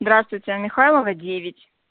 здравствуйте а михайлова девять